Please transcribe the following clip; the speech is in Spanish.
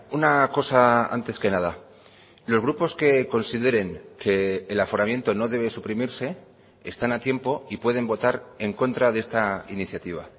una cosa antes que nada los grupos que consideren que el aforamiento no debe suprimirse están a tiempo y pueden votar en contra de esta iniciativa